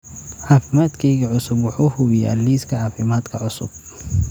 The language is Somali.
Caafimaadkayga cusub wuxuu hubiyaa liiska caafimaadka cusub